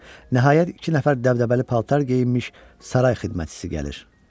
Nəhayət iki nəfər dəbdəbəli paltar geyinmiş saray xidmətçisi gəlir.